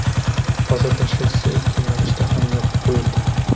Hozirda shosse ikki yo‘nalishda ham yopib qo‘yildi.